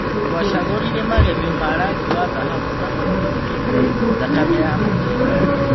Tũacagũrire magemio ma-rangi wa thahabu na mũtune (thakame ya mũthee).